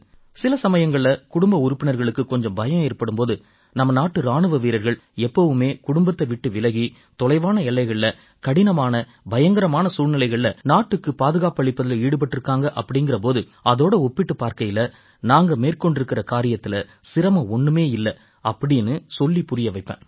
சில சமயங்கள்ல குடும்ப உறுப்பினர்களுக்குக் கொஞ்சம் பயம் ஏற்படும் போது நம்ம நாட்டு இராணுவ வீரர்கள் எப்பவுமே குடும்பத்தை விட்டு விலகி தொலைவான எல்லைகள்ல கடினமான பயங்கரமான சூழ்நிலைகள்ல நாட்டுக்குப் பாதுகாப்பளிப்பதில ஈடுபட்டிருக்காங்க அப்படீங்கற போது அதோட ஒப்பிட்டுப் பார்க்கையில நாங்க மேற்கொண்டிருக்கற காரியத்தில சிரமம் ஒண்ணுமே இல்லை அப்படீன்னு சொல்லிப் புரிய வைப்பேன்